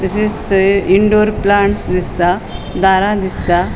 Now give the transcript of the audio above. तशेच थंय indoor plants दिसता दारा दिसता.